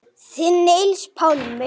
Þinn Niels Pálmi.